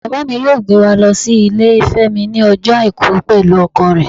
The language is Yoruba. Baba mí yọọ gbé wa lo si ilé femi ní ojo aiku pẹlu ọkọ re.